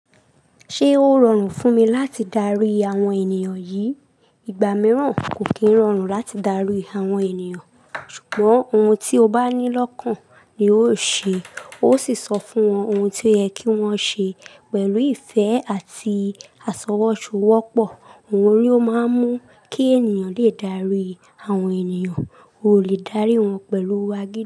Ṣé ó rọrùn fún mi láti darí àwọn ènìyàn yìí? Ìgbà mìíràn kò kí ń rọrùn láti darí àwọn ènìyàn, ṣùgbọ́n ohun tí o bá ní lọ́kàn ni ó ṣe, ó sì sọ fún wọn ohun tí ó yẹ kí wọ́n ṣe pẹ̀lú ìfẹ́ àti àṣọwọ́ ṣowọ́pọ̀. Òhun ní o máa ń mú kí ènìyàn lè dárí àwọn ènìyàn, o ò lè dárí wọn pẹ̀lú agídí.